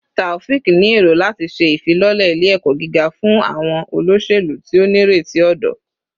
Taofiq ni ero lati ṣe ifilọlẹ ile-ẹkọ giga fun awọn oloselu ti o nireti ọdọ